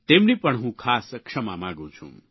તેમની પણ હું ખાસ ક્ષમા માગું છું